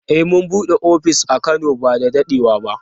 Eh mun bude ofis a Kano ba da dadewa ba.